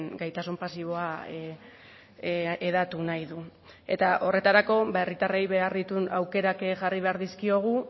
gaitasun pasiboa hedatu nahi du eta horretarako herritarrei behar dituen aukerak jarri behar dizkiogu